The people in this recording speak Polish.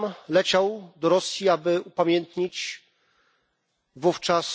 Leciał do Rosji, aby upamiętnić wówczas